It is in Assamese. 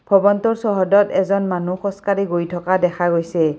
ভৱনটোৰ চৌহদত এজন মানুহ খোজকাঢ়ি গৈ থকা দেখা গৈছে।